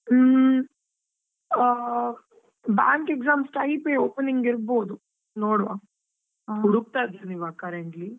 ಹ್ಮ್, ಆ bank exams type ಏ opening ಇರ್ಬೋದು ನೋಡ್ವಾ ಇದ್ದೇನೆ ಇವಾಗಾ currently .